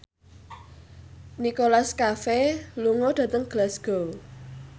Nicholas Cafe lunga dhateng Glasgow